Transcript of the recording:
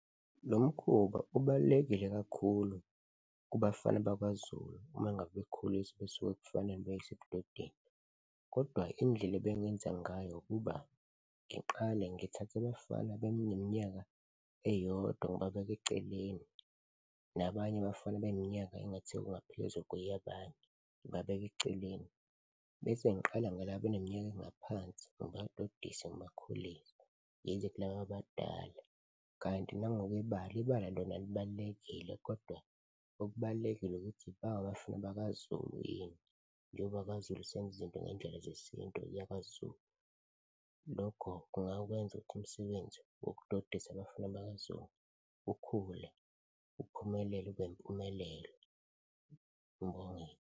Lo mkhuba ubalulekile kakhulu kubafana bakwaZulu uma ngabe bekhuliswa, besuka ebufaneni beyiswa ebudodeni kodwa indlela ebengingenza ngayo ukuba ngiqale ngithathe abafana beneminyaka eyodwa ngibabeke eceleni nabanye abafana beminyaka engathi kungaphezu kweyabanye, ngibabeke eceleni bese ngiqala ngalaba abeneminyaka engaphansi, ngibadodise ngibakhulise, ngize kulaba abadala. Kanti nangokwebala, ibala lona libalulekile kodwa okubalulekile ukuthi ba abafana bakaZulu yini njengoba kwaZulu senza izinto ngey'ndlela zesintu lakwaZulu, lokho kungakwenza ukuthi umsebenzi wokudodisa abafana bakwaZulu ukhule, uphumelele ube impumelelo. Ngibonge.